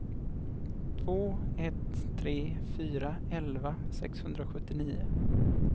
två ett tre fyra elva sexhundrasjuttionio